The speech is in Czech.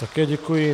Také děkuji.